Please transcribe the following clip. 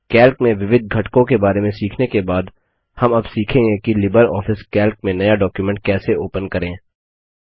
Calc में विविध घटकों के बारे में सीखने के बाद हम अब सीखेंगे कि लिबर ऑफिस कैल्क में नया डॉक्युमेंट कैसे ओपन करें